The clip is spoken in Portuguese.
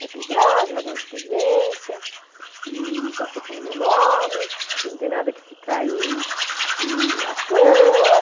Vai pegar, já vai ganhar experiência, e já foi pondo meu nome, que não tem nada que ficar aí e à toa.